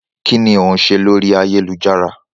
Kínní ó ń ṣe lórí ayélujára?